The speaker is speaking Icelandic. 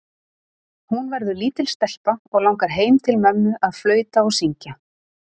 Hún verður lítil stelpa og langar heim til mömmu að flauta og syngja.